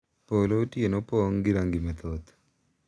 Polo otieno pong’ gi rangi mathoth,